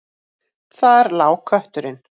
Þar lá kötturinn.